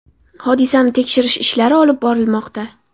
Hodisani tekshirish ishlari olib borilmoqda.